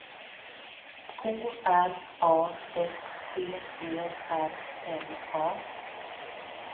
K R A F T E R N A